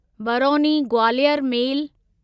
Barauni Gwalior मेल